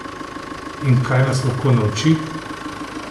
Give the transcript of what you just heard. In kaj nas lahko nauči?